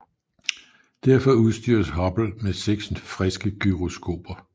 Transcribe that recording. Derfor udstyres Hubble med seks friske gyroskoper